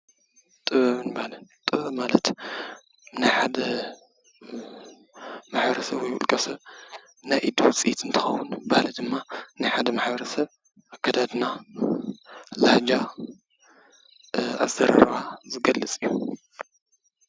ጥበብን ባህልን ጥበብን ማለት ናይ ሓደ ማሕበረሰብ ወይ ናይ ውልቀሰብ ናይ ኢድ ውፅኢት እንትኸውን ባህሊ ድማ ናይ ሓደ ማሕበረሰብ ኣከዳድና፣ ላሃጃ ፣ ዘረባ ዝገልፅ እዩ።